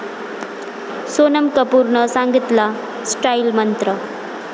सोनम कपूरनं सांगितला स्टाईल मंत्र!